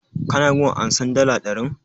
Ka na gun ansan dala ɗarin?